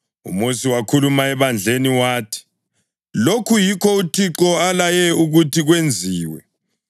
UMosi wakhuluma ebandleni wathi, “Lokhu yikho uThixo alaye ukuthi kwenziwe.”